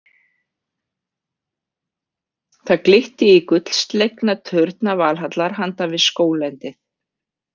Það glitti í gullslegna turna Valhallar handan við skóglendið.